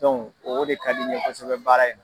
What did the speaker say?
o de ka di n kosɛbɛ baara in na.